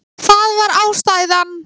Það var ástæðan.